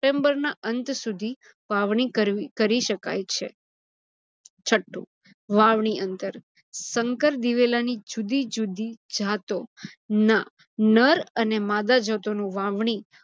chamber ના અંત સુધી વાવણી કરી શકાય છે. છઠ્ઠુ વાવણી અંતર સંકર દિવેલાની જુદી-જુદી જાતોના નર અને માદા જાતો નુ વાવણી